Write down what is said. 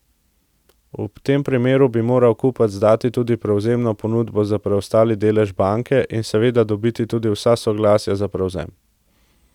V tem primeru bi moral kupec dati tudi prevzemno ponudbo za preostali delež banke in seveda dobiti tudi vsa soglasja za prevzem.